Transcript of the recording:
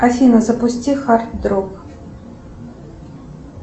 афина запусти хард рок